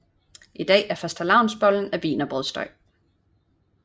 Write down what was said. I dag er fastelavnsbollen af wienerbrødsdej